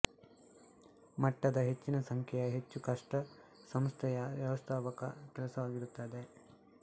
ಮಟ್ಟದ ಹೆಚ್ಚಿನ ಸಂಖ್ಯೆಯ ಹೆಚ್ಚು ಕಷ್ಟ ಸಂಸ್ಥೆಯ ವ್ಯವಸ್ಥಾಪಕ ಕೆಲಸವಾಗಿರುತ್ತದೆ